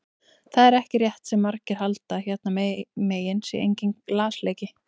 Það er ekki rétt sem margir halda að hérna megin sé enginn lasleiki.